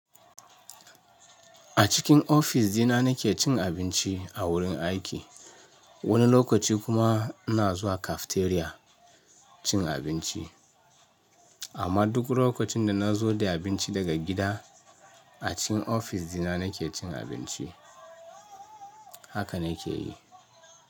A cikin ofis dina nake cin abinci a wurin aiki. Wani lokaci kuma ina zuwa cafeteria cin abinci. Amma duk lokacin da na zo da abinci daga gida, a cikin ofis dina nake cin abinci. Haka na ke yi.